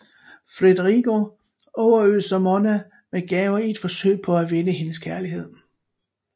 Federigo overøser Monna med gaver i et forsøg på at vinde hendes kærlighed